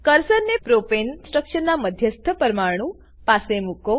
કર્સરને પ્રોપેન સ્ટ્રક્ચરના મધ્યસ્થ પરમાણુ પાસે મુકો